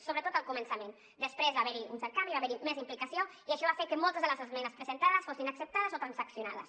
sobretot al començament després va haver hi un cert canvi hi va haver més implicació i això va fer que moltes de les esmenes presentades fossin acceptades o transaccionades